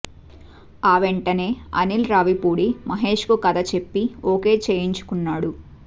ఆ వెంటనే అనిల్ రావిపూడి మహేష్ కు కథ చెప్పి ఓకే చేయించుకున్నాడు